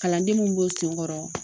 Kalanden minnu b'o sen kɔrɔ